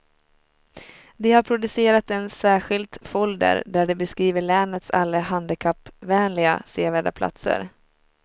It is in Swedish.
De har producerat en särskilt folder där de beskriver länets alla handikappvänliga, sevärda platser.